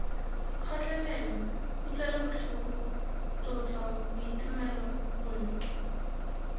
kgotlelelo kutlwelobotlhoko tlotlo boitumelo bontle